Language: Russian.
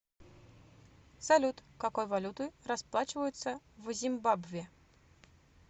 салют какой валютой расплачиваются в зимбабве